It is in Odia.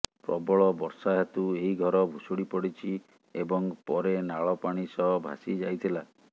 ପ୍ରବଳ ବର୍ଷା ହେତୁ ଏହି ଘର ଭୁଶୁଡି ପଡିଛି ଏବଂ ପରେ ନାଳ ପାଣି ସହ ଭାସି ଯାଇଥିଲା